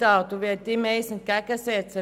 Ich will ihm etwas entgegensetzen.